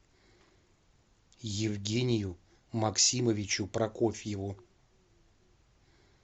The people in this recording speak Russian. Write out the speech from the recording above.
евгению максимовичу прокофьеву